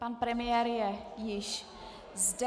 Pan premiér je již zde.